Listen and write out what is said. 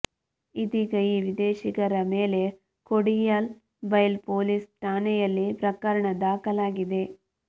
ಇದೀಗ ಈ ವಿದೇಶಿಗರ ಮೇಲೆ ಕೊಡಿಯಾಲ್ ಬೈಲ್ ಪೊಲೀಸ್ ಠಾಣೆಯಲ್ಲಿ ಪ್ರಕರಣ ದಾಖಲಾಗಿದೆ